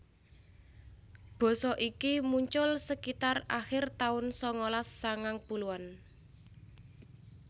Basa iki muncul sekitar akhir tahun sangalas sangang puluhan